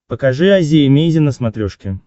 покажи азия эмейзин на смотрешке